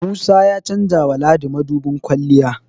Musa ya chanjawa Ladi mudubin kwalliya